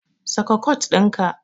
Saka kot ɗinka.